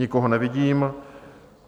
Nikoho nevidím.